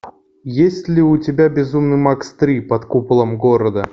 есть ли у тебя безумный макс три под куполом города